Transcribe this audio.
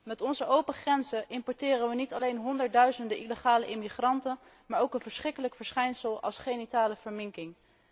Met onze open grenzen importeren we niet alleen honderdduizenden illegale immigranten, maar ook een verschrikkelijk verschijnsel als genitale verminking.